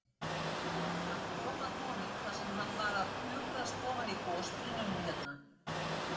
Hann kom að honum þar sem hann var að pukrast ofan í gosbrunninum hérna.